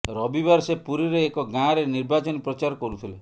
ରବିବାର ସେ ପୁରୀରେ ଏକ ଗାଁରେ ନିର୍ବାଚନୀ ପ୍ରଚାର କରୁଥିଲେ